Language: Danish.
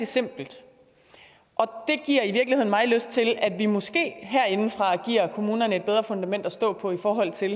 simpelt og det giver i virkeligheden mig lyst til at vi måske herindefra giver kommunerne et bedre fundament at stå på i forhold til